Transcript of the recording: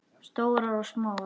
Stórar og smáar.